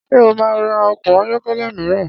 Ṣé ó máa ra ọkọ̀ ayọ́kẹ́lẹ́ mìíràn?